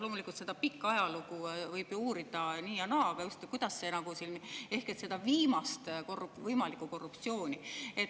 Loomulikult, seda pikka ajalugu võib ju uurida nii ja naa, aga just selleks, et uurida seda viimast võimalikku korruptsiooni.